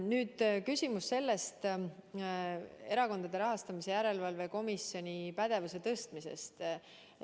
Nüüd küsimus Erakondade Rahastamise Järelevalve Komisjoni pädevuse tõstmise kohta.